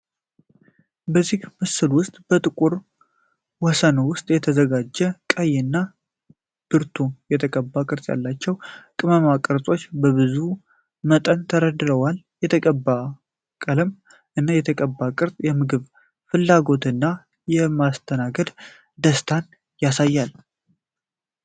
በዚህ ምስል ውስጥ በጥቁር ወሰን ውስጥ የተዘጋጀ ቀይ እና ብርቱ የተቀባ ቅርፅ ያላቸው ቅመም ቅርጾች በብዙ መጠን ተደርተዋል። የተቀባ ቀለም እና የተቀባ ቅርጽ የምግብ ፍላጎትን እና የማስተናገድ ደስታን ያሳያል።